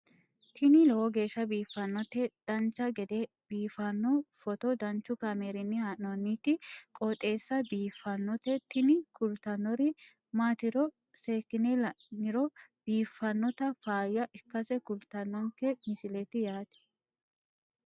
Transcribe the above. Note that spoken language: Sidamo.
tini lowo geeshsha biiffannoti dancha gede biiffanno footo danchu kaameerinni haa'noonniti qooxeessa biiffannoti tini kultannori maatiro seekkine la'niro biiffannota faayya ikkase kultannoke misileeti yaate